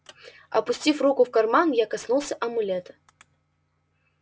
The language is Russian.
опустив руку в карман я коснулся амулета